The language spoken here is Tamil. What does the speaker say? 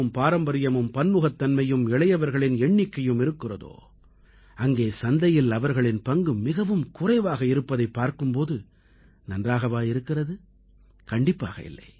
பாரம்பரியமும் பன்முகத்தன்மையும் இளையவர்களின் எண்ணிக்கையும் இருக்கிறதோ அங்கே சந்தையில் அவர்களின் பங்கு மிகவும் குறைவாக இருப்பதைப் பார்க்கும் போது நன்றாகவா இருக்கிறது கண்டிப்பாக இல்லை